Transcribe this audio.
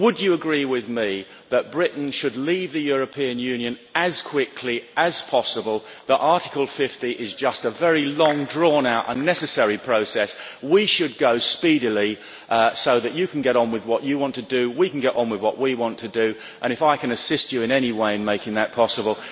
Would you agree with me that Britain should leave the European Union as quickly as possible, that Article 50 is just a very long drawn out, unnecessary process, and we should go speedily so that you can get on with what you want to do and we can get on with what we want to do? I will assist you in any way I can to make that possible.